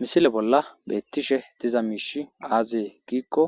misile bolla beettishe diza miishi aazee giikko